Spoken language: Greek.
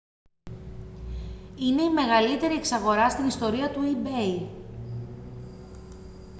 είναι η μεγαλύτερη εξαγορά στην ιστορία του ebay